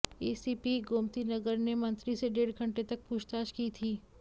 ACP Gomtinagar ने मंत्री से डेढ़ घंटे तक पूछताछ की थी